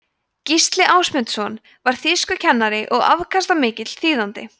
gísli ásmundsson var þýskukennari og afkastamikill þýðandi